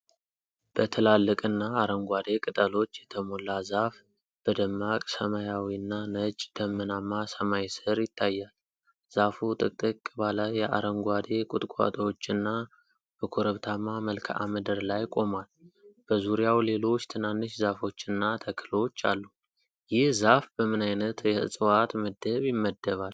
በትላልቅና አረንጓዴ ቅጠሎች የተሞላ ዛፍ በደማቅ ሰማያዊና ነጭ ደመናማ ሰማይ ስር ይታያል። ዛፉ ጥቅጥቅ ባለ የአረንጓዴ ቁጥቋጦዎችና በኮረብታማ መልክዓ ምድር ላይ ቆሟል፤ በዙሪያው ሌሎች ትናንሽ ዛፎችና ተክሎች አሉ፤ ይህ ዛፍ በምን ዓይነት የዕፅዋት ምድብ ይመደባል?